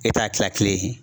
E ta ye kila kile ye.